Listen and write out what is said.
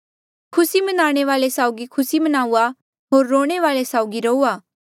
खुसी मनाणे वाले साउगी खुसी मनाऊआ होर रोणे वाले साउगी रोआ